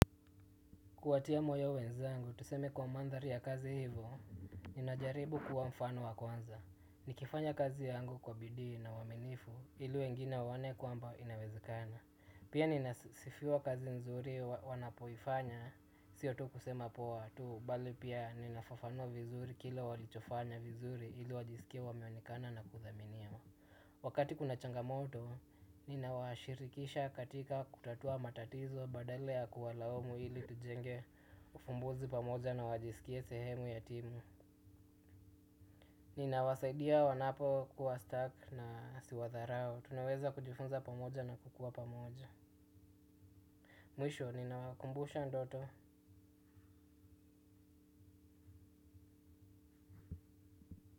Kuwatia moyo wenzangu tuseme kwa mandhari ya kazi hivo, ninajaribu kuwa mfano wa kwanza nikifanya kazi yangu kwa bidii na uaminifu, ili wengine waone kwamba inawezekana. Pia ninasifiwa kazi nzuri wanapoifanya, sio tu kusema poa tu, bali pia ninafafanua vizuri kila walichofanya vizuri ilu wajisikie wameonekana na kuthaminiwa. Wakati kuna changamoto, ninawa shirikisha katika kutatua matatizo badala ya kuwalamu ili tujenge ufumbuzi pamoja na wajisikie sehemu ya timu. Ninawasaidia wanapo kuwa stuck na siwadharau, tunaweza kujifunza pamoja na kukua pamoja. Mwisho, ninawakumbusha ndoto.